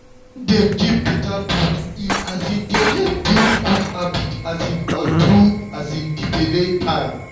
wen dem give better food e um dey help build good habit um all through um di belle time.